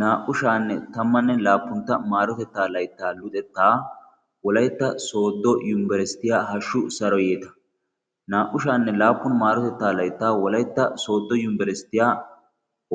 naa77u shaanne tammanne laappuntta maarotettaa laittaa luxettaa wolaitta sooddo yumibarisitiyaa hashshu saro yeeta. naa77ushaanne laappun maarotettaa laittaa wolaitta sooddo yumibarisitiyaa